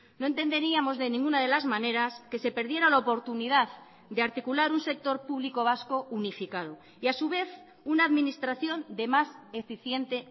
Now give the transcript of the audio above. no entenderíamos de ninguna de las maneras que se perdiera la oportunidad de articular un sector público vasco unificado y a su vez una administración de más eficiente